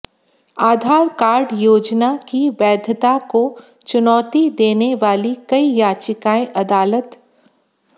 आधार card योजना की वैधता को चुनौती देने वाली कई याचिकाएं अदालत